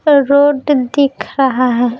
Road दिख रहा है।